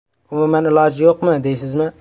Umuman iloji yo‘qmi, deysizmi?